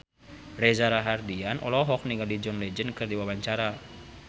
Reza Rahardian olohok ningali John Legend keur diwawancara